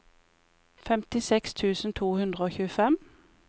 femtiseks tusen to hundre og tjuefem